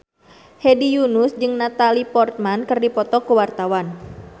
Hedi Yunus jeung Natalie Portman keur dipoto ku wartawan